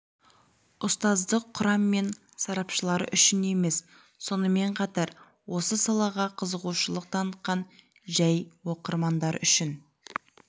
ұстаздық құрам мен сарапшылар үшін емес сонымен қатар осы салаға қызығушылық танытатын жәй оқырмандар үшін